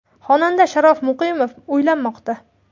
Xonanda Sharof Muqimov uylanmoqda.